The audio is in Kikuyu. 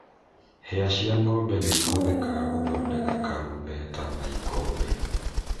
Hĩa cĩa ng'ombe nĩ ihũthĩkaga gũthondeka karumbeta na ikombe.